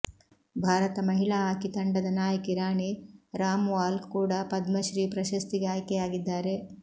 ಭಾರತ ಮಹಿಳಾ ಹಾಕಿ ತಂಡದ ನಾಯಕಿ ರಾಣಿ ರಾಮ್ಪಾಲ್ ಕೂಡ ಪದ್ಮ ಶ್ರೀ ಪ್ರಶಸ್ತಿಗೆ ಆಯ್ಕೆಯಾಗಿದ್ದಾರೆ